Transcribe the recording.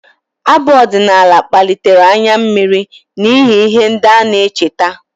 Abụ ọdịnala kpalitere anya mmiri n'ihi ihe ndị ọ na-echeta